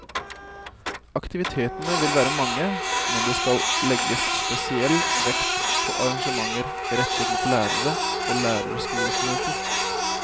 Aktivitetene vil være mange, men det skal legges spesiell vekt på arrangementer rettet mot lærere og og lærerskolestudenter.